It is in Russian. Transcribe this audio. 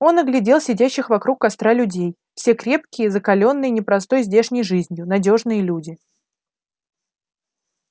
он оглядел сидящих вокруг костра людей все крепкие закалённые непростой здешней жизнью надёжные люди